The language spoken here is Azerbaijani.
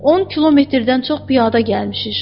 10 kilometrdən çox piyada gəlmişik.